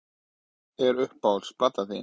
Já dálítið Hver er uppáhalds platan þín?